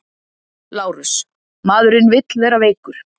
LÁRUS: Maðurinn vill vera veikur.